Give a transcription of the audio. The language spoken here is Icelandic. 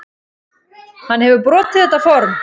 Hann hefur brotið þetta form.